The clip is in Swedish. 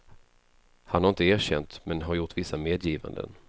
Han har inte erkänt men har gjort vissa medgivanden.